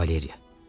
Valeriya.